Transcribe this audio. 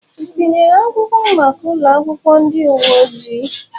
Ị tinyere akwụkwọ maka ụlọ akwụkwọ ndị uwe ojii?